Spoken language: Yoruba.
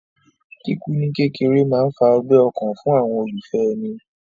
Kíkú ní kékeré máa ń fa ọgbẹ́ ọkàn fún àwọn olólùfẹ́ èni